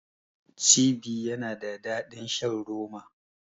Cibi yana da daɗin shan roma.